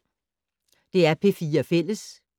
DR P4 Fælles